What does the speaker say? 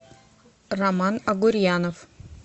роман агурьянов